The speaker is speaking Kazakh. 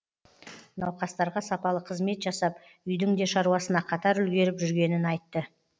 науқастарға сапалы қызмет жасап үйдің де шаруасына қатар үлгеріп жүргенін айтты